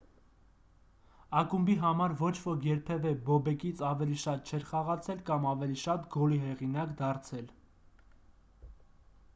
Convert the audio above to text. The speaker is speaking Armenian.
ակումբի համար ոչ ոք երբևէ բոբեկից ավելի շատ չէր խաղացել կամ ավելի շատ գոլի հեղինակ դարձել